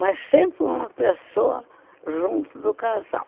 Mas sempre uma pessoa junto do casal.